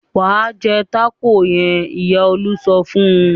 "Wà á jẹ tákò yẹn!" Ìyá Olú sọ fún un.